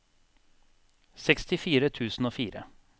sekstifire tusen og fire